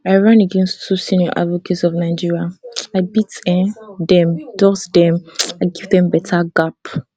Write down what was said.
i run against two senior advocates of nigeria i beat um dem dust dem i give dem beta gap